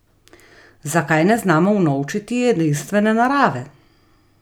Zakaj ne znamo unovčiti edinstvene narave?